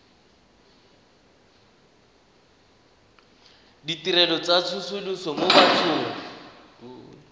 ditirelo tsa tsosoloso mo bathong